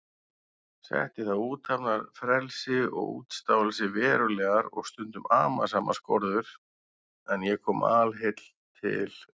Setti það athafnafrelsi og útstáelsi verulegar og stundum amasamar skorður, en ég kom alheill til